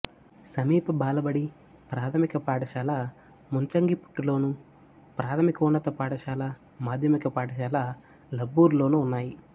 సమీప బాలబడి ప్రాథమిక పాఠశాల ముంచంగిపుట్టులోను ప్రాథమికోన్నత పాఠశాల మాధ్యమిక పాఠశాల లబ్బురులోనూ ఉన్నాయి